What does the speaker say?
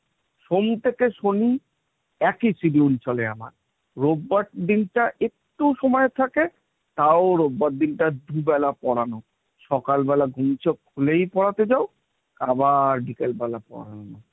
সোম থেকে শনি একই schedule চলে আমার রোববার দিনটা একটু সময় থাকে, তাও রোববার দিনটা দুবেলা পড়ানো; সকালবেলা ঘুম চোখ খুলেই পড়াতে যাও, আবার বিকেলবেলা পড়ানো।